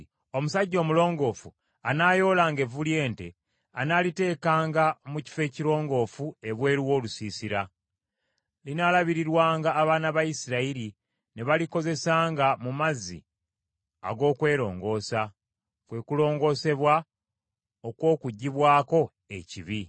“Omusajja omulongoofu anaayoolanga evvu ly’ente, anaaliteekanga mu kifo ekirongoofu ebweru w’olusiisira. Linaalabirirwanga abaana ba Isirayiri ne balikozesanga mu mazzi ag’okwerongoosa; kwe kulongoosebwa okw’okuggibwako ekibi.